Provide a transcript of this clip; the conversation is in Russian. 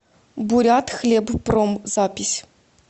бурятхлебпром запись